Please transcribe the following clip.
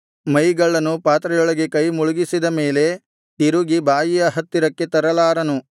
ಮೈಗಳ್ಳನು ಪಾತ್ರೆಯೊಳಗೆ ಕೈ ಮುಳುಗಿಸಿದ ಮೇಲೆ ತಿರುಗಿ ಬಾಯಿಯ ಹತ್ತಿರಕ್ಕೆ ತರಲಾರನು